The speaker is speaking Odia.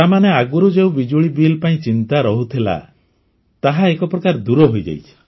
ତାମାନେ ଆଗରୁ ଯେଉଁ ବିଜୁଳି ବିଲ୍ ପାଇଁ ଚିନ୍ତା ରହୁଥିଲା ତାହା ଏକ ପ୍ରକାର ଦୂର ହୋଇଯାଇଛି